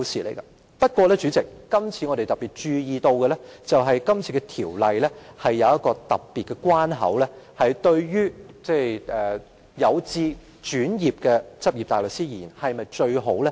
可是，代理主席，我們注意到《修訂規則》增設了特別的關口，這對於有志轉業的執業大律師是否最好的安排？